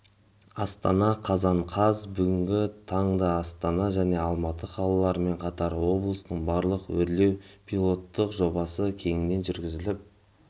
астана қазан қаз бүгінгі таңдаастана және алматы қалаларымен қатар облыстың барлығында өрлеу пилоттық жобасы кеңінен жүргізіліп